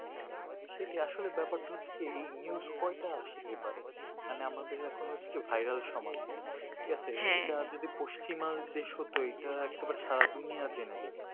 সেটাই আসলে ব্যাপার তা হচ্ছে এই news কয়টা আসে পেপার এ মানে আমাদের এখন হচ্ছে কি vairal সমাজ ঠিক আছে হ্যা এটা যদি পশ্চিমবাংলাই দেশ হতো একবারে এইটা একবার সারা দুনিয়া জেনে যেত